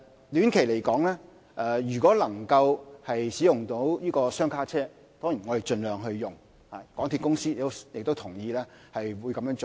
短期而言，如果可以使用雙卡車輛，當然也會盡量使用，港鐵公司亦同意這樣做。